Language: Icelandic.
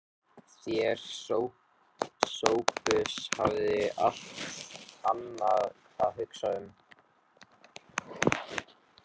Þér, Sophus, fáið allt annað að hugsa um.